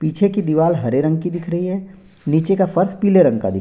पीछे की दीवार हरे रंग की दिख रही है नीचे का फर्स पीले रंग का दिख --